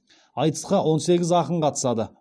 айтысқа он сегіз ақын қатысады